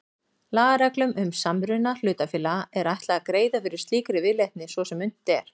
Lagareglum um samruna hlutafélaga er ætlað að greiða fyrir slíkri viðleitni svo sem unnt er.